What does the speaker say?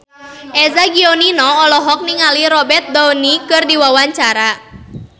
Eza Gionino olohok ningali Robert Downey keur diwawancara